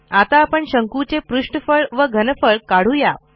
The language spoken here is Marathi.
आता आपण शंकूचे पृष्ठफळ व घनफळ काढू या